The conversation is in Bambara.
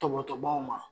Tɔbɔtɔbaw ma